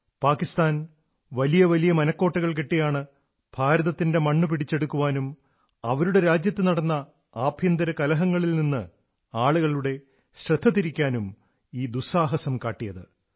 പാകിസ്ഥാൻ വലിയ വലിയ മനക്കോട്ടകൾ കെട്ടിയാണ് ഭാരതത്തിന്റെ മണ്ണ് പിടിച്ചെടുക്കാനും അവരുടെ രാജ്യത്തു നടന്ന ആഭ്യന്തര കലഹങ്ങളിൽ നിന്ന് ആളുകളുടെ ശ്രദ്ധ തിരിക്കാനുമായി ഈ ദുസ്സാഹസം കാട്ടിയത്